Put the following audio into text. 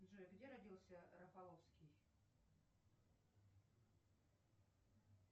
джой где родился рафаловский